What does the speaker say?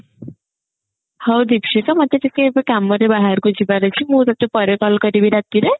ହଉ ଦୀକ୍ଷିତା ମତେ ଟିକେ ଏବେ କାମରେ ବାହାରକୁ ଯିବାର ଅଛି ମୁଁ ତତେ ପରେ call କରିବି ରାତିରେ